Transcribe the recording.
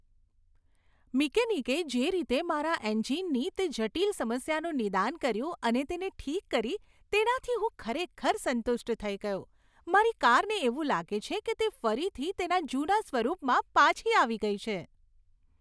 મિકેનિકે જે રીતે મારા એન્જિનની તે જટિલ સમસ્યાનું નિદાન કર્યું અને તેને ઠીક કરી, તેનાથી હું ખરેખર સંતુષ્ટ થઈ ગયો, મારી કારને એવું લાગે છે કે તે ફરીથી તેના જૂના સ્વરૂપમાં પાછી આવી ગઈ છે.